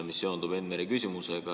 See seondub Enn Mere küsimusega.